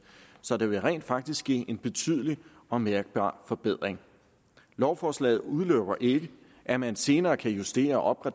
så der vil rent faktisk ske en betydelig og mærkbar forbedring lovforslaget udelukker ikke at man senere kan justere og